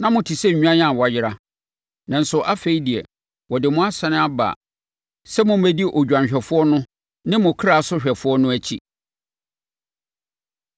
Na mote sɛ nnwan a wɔayera,” nanso afei deɛ, wɔde mo asane aba sɛ mommɛdi Odwanhwɛfoɔ no ne mo Krasohwɛfoɔ no akyi.